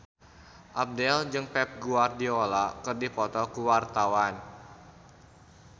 Abdel jeung Pep Guardiola keur dipoto ku wartawan